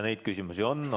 Neid küsimusi on.